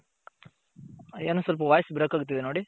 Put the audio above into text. ಏನೋ ಸ್ವಲ್ಪ voice break ಆಗ್ತಿದೆ ನೋಡಿ.